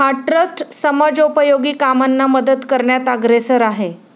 हा ट्रस्ट समाजोपयोगी कामांना मदत करण्यात अग्रेसर आहे.